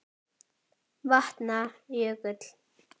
Vatna- jökull